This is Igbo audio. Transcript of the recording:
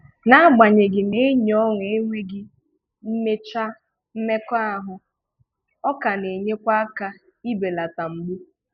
N'agbanyeghị na enyi ọṅụ enweghị mmecha mmekọahụ, ọ ka na-enyekwa aka ị beleta mgbu